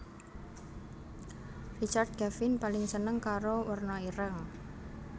Richard Kevin paling seneng karo werna ireng